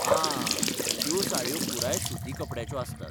आं, त्यो साडयो पुराय सुती कपड्याच्यो आसतात.